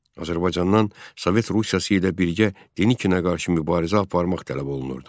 Azərbaycandan Sovet Rusiyası ilə birgə Denikinə qarşı mübarizə aparmaq tələb olunurdu.